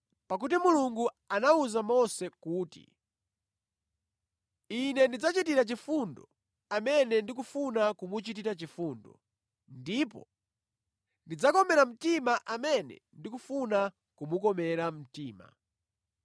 Pakuti Mulungu anawuza Mose kuti, “Ine ndidzachitira chifundo amene ndikufuna kumuchitira chifundo, ndipo ndidzakomera mtima amene ndikufuna kumukomera mtima.”